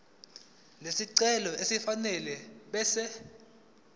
lesicelo elifanele ebese